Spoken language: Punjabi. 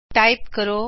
ਟਾਇਪ ਕਰੋ